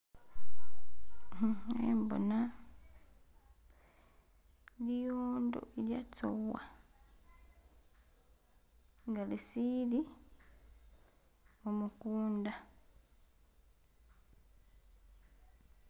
Uh khembona liwondo i'lyetsowa nga lisili khumukunda.